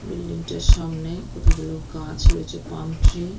Building টার সামনে কতগুলো গাছ রয়েছে পাম ট্রি ।